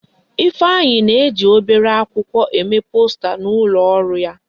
Ifeanyi na-eji obere akwụkwọ eme posta n'ulo oru ya.